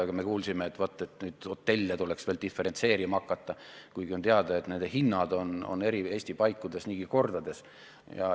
Aga me kuulsime, et hotellitasusid tuleks veel diferentseerima hakata, kuigi on teada, et nende hinnad erinevad eri Eesti paikades niigi kordades.